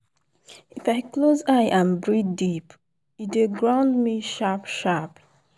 if i close eye and breathe deep e dey ground me sharp-sharp.